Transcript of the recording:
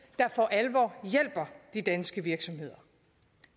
der for alvor hjælper de danske virksomheder